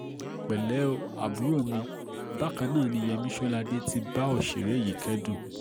pẹ̀lẹ́ o àbúrò mi bákan náà ni yèmí sọládé ti bá òṣèré yìí kẹ́dùn